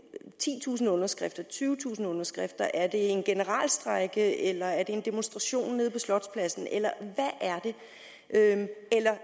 titusind underskrifter tyvetusind underskrifter er det en generalstrejke eller er det en demonstration nede på slotspladsen eller er det